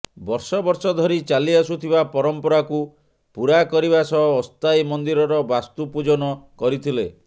ବର୍ଷ ବର୍ଷ ଧରି ଚାଲିଆସୁଥିବା ପରମ୍ପରାକୁ ପୂରା କରିବା ସହ ଅସ୍ଥାୟୀ ମନ୍ଦିରର ବାସ୍ତୁ ପୂଜନ କରିଥିଲେ